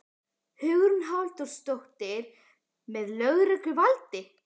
Hugrún Halldórsdóttir: Með lögregluvaldi?